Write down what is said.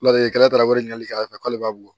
Ladelikɛla wele k'a fɔ k'ale b'a bɔ